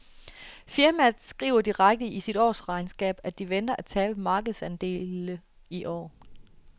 Firmaet skriver direkte i sit årsregnskab, at de venter at tabe markedsandele i år.